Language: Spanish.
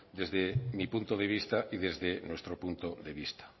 desde mi punto de vista y desde nuestro punto de vista